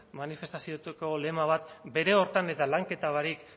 manifestazioetako lema bat bere horretan eta lanketa barik